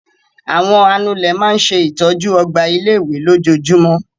Àwọn anulẹ̀ máa ń ṣe ìtọ́jú ọgbà ilé-ìwé lójoojúmọ́.